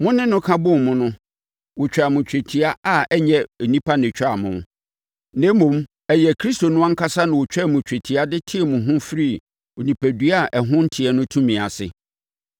Mo ne no ka bɔɔ mu no, wɔtwaa mo twetia a ɛnyɛ onipa na ɔtwaa mo, na mmom, ɛyɛ Kristo no ankasa na ɔtwaa mo twetia de tee mo firii onipadua a ɛho nteɛ no tumi ase.